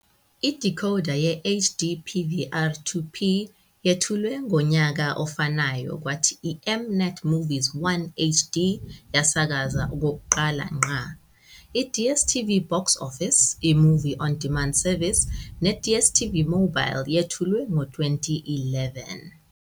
Idecoder ye-HD PVR 2P yethulwe ngonyaka ofanayo kwathi iM-NET Movies 1 HD yasakazwa okokuqala ngqa. IDStv BoxOffice, i-movie on demand service, neDStv Mobile yethulwe ngo-2011.